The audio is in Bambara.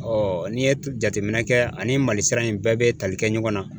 Ɔɔ n'i ye jateminɛ kɛ ani malisira in bɛɛ be tali kɛ ɲɔgɔn na